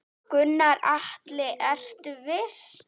Gunnar Atli: Ertu viss?